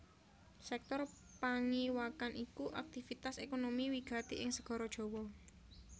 Sèktor pangiwakan iku aktivitas ékonomi wigati ing Segara Jawa